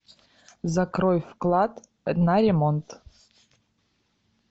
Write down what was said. закрой вклад на ремонт